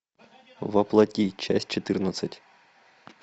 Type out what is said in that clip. во плоти часть четырнадцать